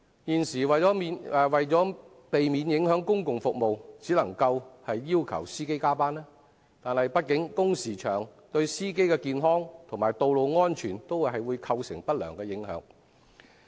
現時為免影響公共服務，只能要求司機加班，但畢竟工時長，對司機的健康及道路安全均會構成不良影響。